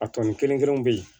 A tɔni kelen kelenw bɛ yen